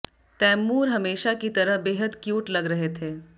तैमूर हमेशा की तरह बेहद क्यूट लग रहे थे